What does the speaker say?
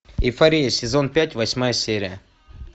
эйфория сезон пять восьмая серия